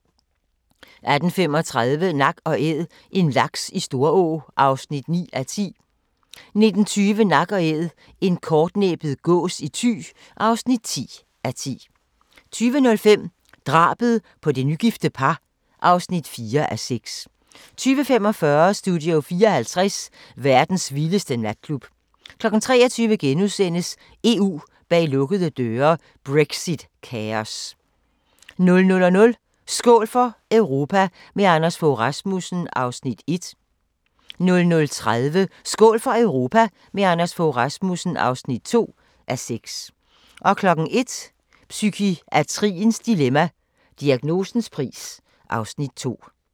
18:35: Nak & Æd – en laks i Storå (9:10) 19:20: Nak & Æd – en kortnæbbet gås i Thy (10:10) 20:05: Drabet på det nygifte par (4:6) 20:45: Studio 54 – verdens vildeste natklub 23:00: EU bag lukkede døre: Brexit-kaos * 00:00: Skål for Europa – med Anders Fogh Rasmussen (1:6) 00:30: Skål for Europa – med Anders Fogh Rasmussen (2:6) 01:00: Psykiatriens dilemma – Diagnosens pris (Afs. 2)